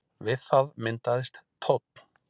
við það myndaðist tónn